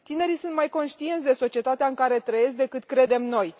Tinerii sunt mai conștienți de societatea în care trăiesc decât credem noi.